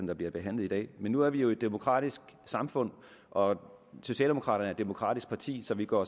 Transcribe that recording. der bliver behandlet i dag men nu er vi jo et demokratisk samfund og socialdemokraterne er et demokratisk parti så vi går